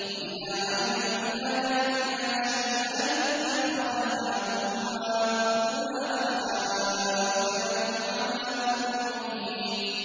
وَإِذَا عَلِمَ مِنْ آيَاتِنَا شَيْئًا اتَّخَذَهَا هُزُوًا ۚ أُولَٰئِكَ لَهُمْ عَذَابٌ مُّهِينٌ